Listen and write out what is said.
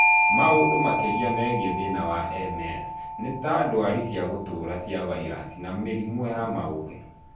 Maũndũ makĩria megiĩ thina wa MS nĩta ndwari cia gũtũra cia vairaci na mĩrimũ ya maũthĩ